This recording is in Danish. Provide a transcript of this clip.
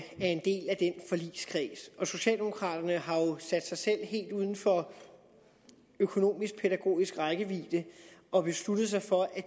er en forligskreds og socialdemokraterne har sat sig selv helt uden for økonomisk pædagogisk rækkevidde og besluttet sig for at